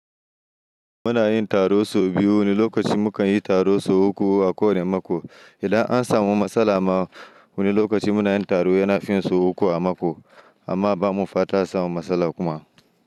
Muna yin taro sau biu. Wani lokaci mu kan yi taro sau uku a kowane mako. Idan an samu matsala ma wani lokaci mu na yin taro yana fin sau uku a mako, amma ba mu fata a samun matsala kuma.